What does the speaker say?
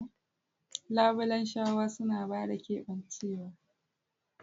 Labulen shawa suna ba da keɓancewa.